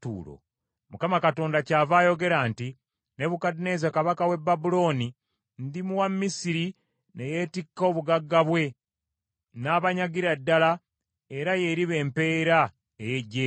Mukama Katonda kyava ayogera nti, Nebukadduneeza kabaka w’e Babulooni ndimuwa Misiri ne yeetikka obugagga bwe, n’abanyagira ddala era y’eriba empeera ey’eggye lye.